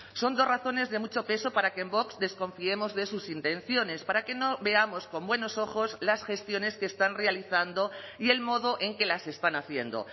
son dos razones de mucho peso para que en vox desconfiemos de sus intenciones para que no veamos con buenos ojos las gestiones que están realizando y el modo en que las están haciendo